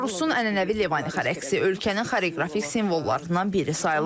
Belarusun ənənəvi Levanixa rəqsi ölkənin xoreoqrafik simvollarından biri sayılır.